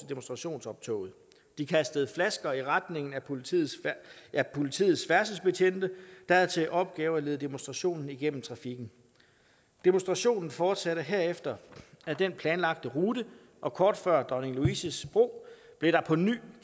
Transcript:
demonstrationsoptoget de kastede flasker i retning af politiets politiets færdselsbetjente der havde til opgave at lede demonstrationen igennem trafikken demonstrationen fortsatte herefter ad den planlagte rute og kort før dronning louises bro blev der på ny